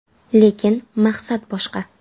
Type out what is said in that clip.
Lekin maqsad boshqa.